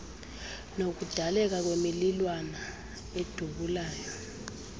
nokudaleka kwemililwana edubulayo